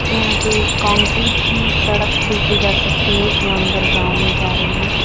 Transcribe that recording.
यहां पर कंक्रीट की सड़क देखी जा सकती है जो अंदर गांव में जा रही है।